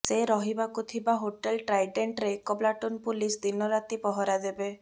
ସେ ରହିବାକୁ ଥିବା ହୋଟେଲ୍ ଟ୍ରାଇଡେଣ୍ଟ୍ରେ ଏକ ପ୍ଲାଟୁନ୍ ପୁଲିସ୍ ଦିନରାତି ପହରା ଦେବେ